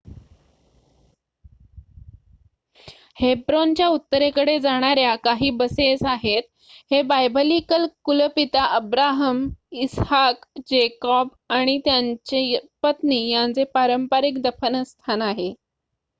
हेब्रोनच्या उत्तरेकडे जाणाऱ्या काही बसेस आहेत हे बायबलीकल कुलपिता अब्राहम इसहाक जॅकोब आणि त्यांच्या पत्नी यांचे पारंपारिक दफनस्थान आहे